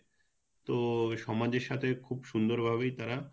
তো সমাজের সাথে খুব সুন্দর ভাবেই তারা